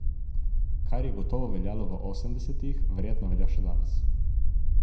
Kar je gotovo veljalo v osemdesetih, verjetno velja še danes.